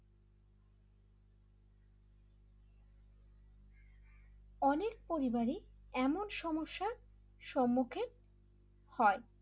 অনেক পরিবারে এমন সমস্যার সম্মুখীন হন l